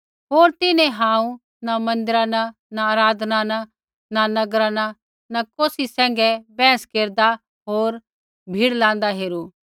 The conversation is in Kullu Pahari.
होर तिन्हैं हांऊँ न मन्दिरा न न आराधनालय न न नगरा न कौसी सैंघै वहस केरदा होर भीड़ लाँदा हेरू